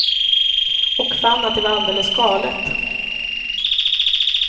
Och fann att det var alldeles galet.